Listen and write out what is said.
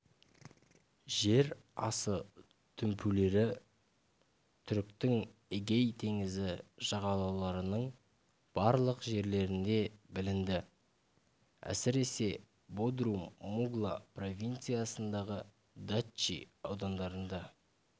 жер асы дүмпулері түріктің эгей теңізі жағалауларының барлық жерлерінде білінді әсіресе бодрум мугла провинциясындағы датчи аудандарында